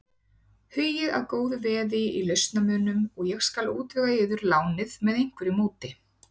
Hugið að góðu veði í lausamunum og ég skal útvega yður lánið með einhverju móti.